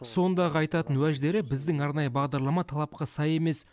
сондағы айтатын уәждері біздің арнайы бағдарлама талапқа сай емес